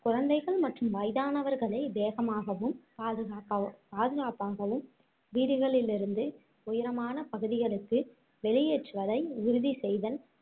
குழந்தைகள் மற்றும் வயதானவர்களை வேகமாகவும் பாதுகாப்பா~ பாதுகாப்பாகவும் வீடுகளில் இருந்து உயரமான பகுதிகளுக்கு வெளியேற்றுவதை உறுதி செய்தல்